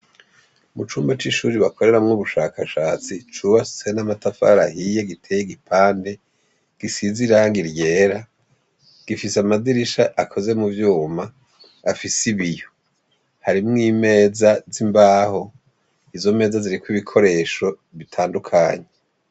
Mu cumba c'ishuri bakoreramwo ubushakashatsi cuwahse n'amatafarahiye giteye igipande gisiz iranga iryera gifise amadirisha akoze mu vyuma afise ibiyo harimwo imeza z'imbaho izo meza ziriko ibikoresho bitandukanyi.